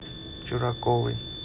чураковой